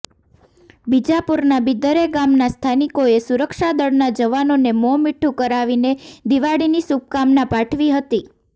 બીજાપુરના બિદરે ગામના સ્થાનિકોએ સુરક્ષાદળના જવાનોને મો મીઠુ કરાવીને દિવાળીની શુભકામના પાઠવી હતી